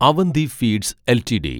Avanti feeds LTD